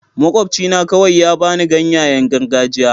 Makwabcina kawai ya ba ni ganyayen gargajiya.